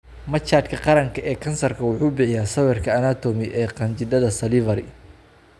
Machadka Qaranka ee Kansarka wuxuu bixiyaa sawirka anatomy ee qanjidhada salivary.